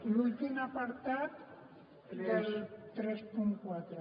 l’últim apartat del trenta quatre